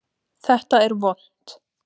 Þetta er vont!